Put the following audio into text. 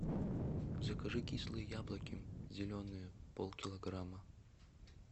закажи кислые яблоки зеленые полкилограмма